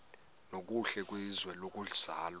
nokuhle kwizwe lokuzalwa